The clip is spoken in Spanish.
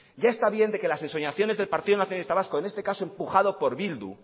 ya está bien de que las ensoñaciones del partido nacionalista vasco en este caso empujado por bildu